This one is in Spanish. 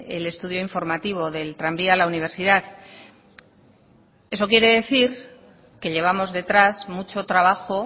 el estudio informativo del tranvía a la universidad eso quiere decir que llevamos detrás mucho trabajo